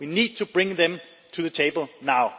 We need to bring them to the table now.